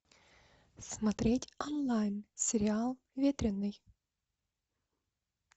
смотреть онлайн сериал ветреный